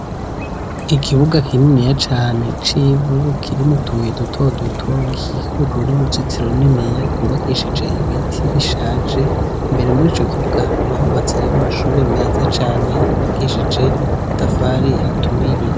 Ikibuga kininiya cane c'ivu, kirimwo utubuye dutoduto gikikujwe n'uruzitiro runiniya rwubakishije ibiti bishaje; imbere muri ico kibuga hakaba hubatseyo amashuri meza cane yubakishije amatafari aturiye.